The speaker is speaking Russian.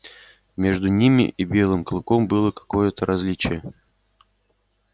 между ними и белым клыком было какое-то различие